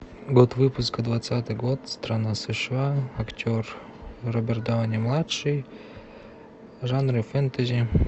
год выпуска двадцатый год страна сша актер роберт дауни младший жанра фэнтези